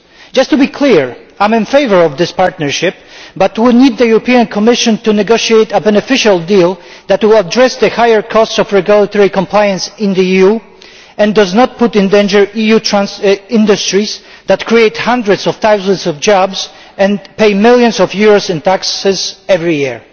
Just to be clear, I am in favour of this partnership, but we need the Commission to negotiate a beneficial deal that will address the higher costs of regulatory compliance in the EU and does not put in danger EU industries that create hundreds of thousands of jobs and pay millions of euros in taxes every year.